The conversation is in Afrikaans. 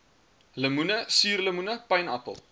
lemoene suurlemoene pynappel